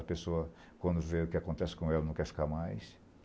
A pessoa, quando vê o que acontece com ela, não quer ficar mais.